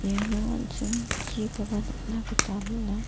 iano an·ching chikoba nikna gita man·a.